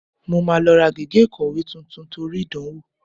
Mo máa lọ ra gègé ìkọ̀wé tuntun torí ìdánwò